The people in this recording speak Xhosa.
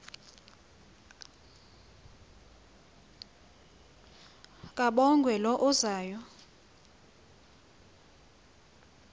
kabongwe low uzayo